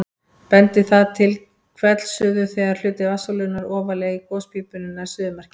Bendir það til hvellsuðu þegar hluti vatnssúlunnar ofarlega í gospípunni nær suðumarki.